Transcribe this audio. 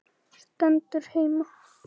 Stendur heima!